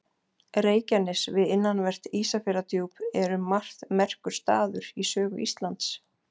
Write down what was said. reykjanes við innanvert ísafjarðardjúp er um margt merkur staður í sögu íslands